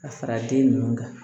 Ka fara den ninnu kan